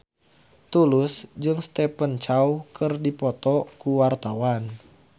Tulus jeung Stephen Chow keur dipoto ku wartawan